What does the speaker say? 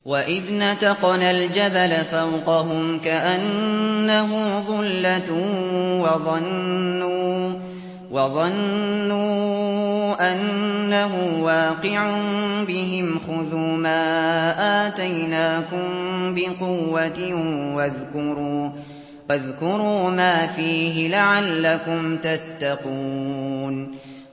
۞ وَإِذْ نَتَقْنَا الْجَبَلَ فَوْقَهُمْ كَأَنَّهُ ظُلَّةٌ وَظَنُّوا أَنَّهُ وَاقِعٌ بِهِمْ خُذُوا مَا آتَيْنَاكُم بِقُوَّةٍ وَاذْكُرُوا مَا فِيهِ لَعَلَّكُمْ تَتَّقُونَ